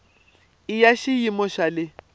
i ya xiyimo xa le